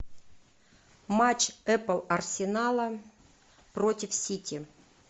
матч апл арсенала против сити